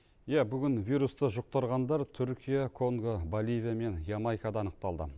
иә бүгін вирусты жұқтырғандар түркия конго боливия мен ямайкада анықталды